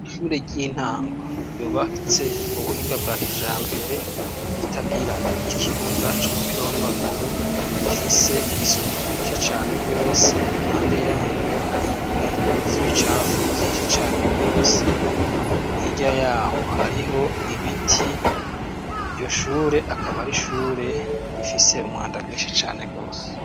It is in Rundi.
Ishure ry'intango ryubatse mu buhinga bwa kijambere, ritagira ikibuga c'umupira w'amaguru, rifise isuku rike cane rwose impande yaryo hari ibintu vy'ibicafu vyinshi cane rwose , hirya yaho hariho ibiti, iryo shure akaba ar'ishure rifise umwanda mwinshi cane rwose.